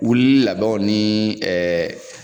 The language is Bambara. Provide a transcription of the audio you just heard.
Wulili labɛnw ni ɛɛ